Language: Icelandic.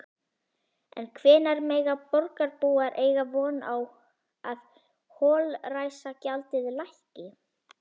En hvenær mega borgarbúar eiga von á að holræsagjaldið lækki?